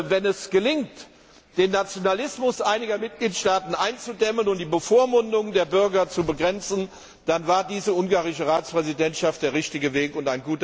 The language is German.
Wenn es gelingt, den Nationalismus einiger Mitgliedstaaten einzudämmen und die Bevormundung der Bürger zu begrenzen, dann war diese ungarische Ratspräsidentschaft der richtige Weg und